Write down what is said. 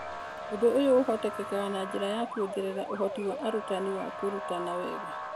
Ũndũ ũyũ ũhotekaga na njĩra ya kũongerera ũhoti wa arutani wa kũrutana wega.